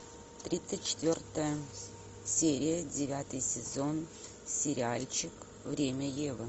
тридцать четвертая серия девятый сезон сериальчик время евы